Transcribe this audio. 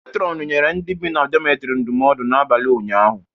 Metrọnụ nyere ndị bi na dometrị ndụmọdu n'abalị ụnyaahụ.